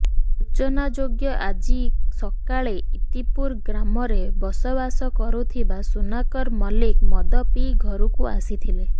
ସୂଚନାଯୋଗ୍ୟ ଆଜି ସକାଳେ ଇତିପୁର ଗ୍ରାମରେ ବସବାସ କରୁଥିବା ସୁନାକର ମଲ୍ଲିକ ମଦ ପିଇ ଘରକୁ ଆସିଥିଲେ